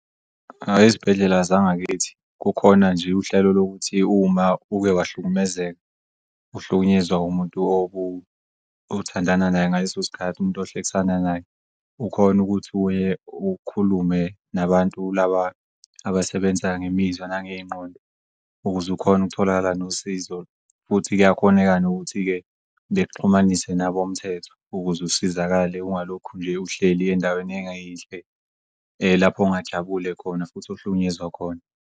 Ayi ezibhedlela zangakithi kukhona nje uhlelo lokuthi uma uke wahlukumezeka uhlukunyezwa umuntu othandana naye ngaleso sikhathi, umuntu ohlekisana naye, ukhone ukuthi ukhulume nabantu laba abasebenza ngemizwa nangey'ngqondo ukuze ukhone ukutholakala nosizo. Futhi kuyakhoneka kanti kuyakhoneka-ke nokuthi bekuxhumanisa nabomthetho ukuz'usizakale ungalokhu nje uhleli ey'ndaweni engayinhle lapho ongajabule khona futhi ohlukunyezwa khona.